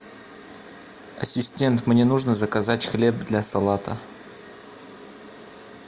ассистент мне нужно заказать хлеб для салата